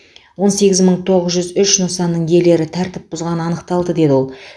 он сегіз мың тоғыз жүз үш нысанның иелері тәртіп бұзғаны анықталды деді ол